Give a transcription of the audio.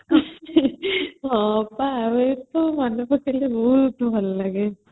ହଁ ପା ମୁ ଏସବୁ ମନେ ପକେଇଲେ ବହୁତ ଭଲ ଲାଗେ